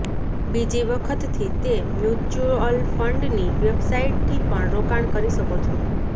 બીજી વખતથી તે મ્યુચ્યુઅલફંડની વેબસાઈટથી પણ રોકાણ કરી શકો છો